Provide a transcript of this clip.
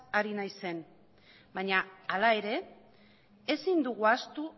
ari naizen baina hala ere ezin dugu ahaztu